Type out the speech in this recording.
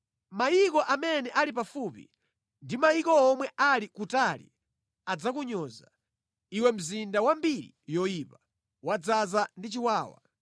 Mayiko amene ali pafupi ndi mayiko omwe ali kutali adzakunyoza, iwe mzinda wa mbiri yoyipa, wodzaza ndi chiwawa.